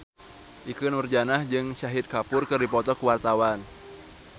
Ikke Nurjanah jeung Shahid Kapoor keur dipoto ku wartawan